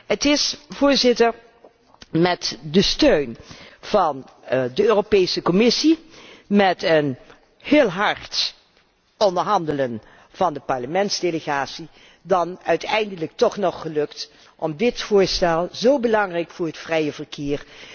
geleverd. Het is met de steun van de Europese Commissie en met heel hard onderhandelen van de parlementsdelegatie dan uiteindelijk toch nog gelukt om dit voorstel, dat zo belangrijk is voor het